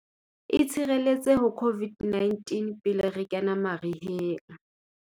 Itshireletse ho COVID-19 pele re kena mariheng.